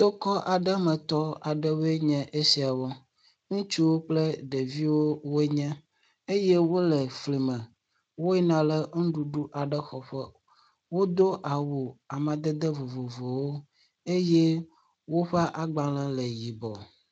Tokɔ aɖemetɔwoe nye esiawo, ŋutsu kple ɖeviwoe wonye eye wole flime, woyina le nuɖuɖu aɖe xɔƒe. Wodo awu amadede vovovo eye woƒe agbalẽ le yibɔ.